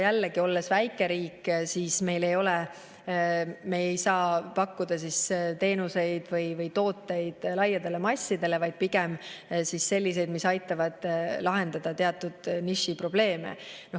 Jällegi, olles väike riik, ei saa me pakkuda teenuseid või tooteid laiadele massidele, vaid pigem pakume selliseid, mis aitavad lahendada teatud nišiprobleeme.